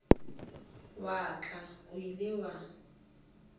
wa ka o ile wa